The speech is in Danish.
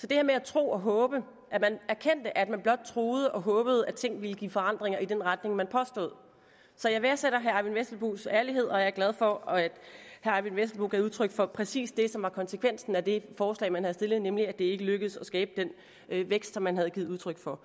det her med at tro og håbe at man erkendte at man blot troede og håbede at tingene ville give forandringer i den retning man påstod så jeg værdsætter herre eyvind vesselbos ærlighed og jeg er glad for at herre eyvind vesselbo gav udtryk for præcis det som var konsekvensen af det forslag man havde stillet nemlig at det ikke lykkedes at skabe den vækst som man havde givet udtryk for